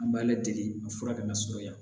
An b'a ladege a fura kana sɔrɔ ya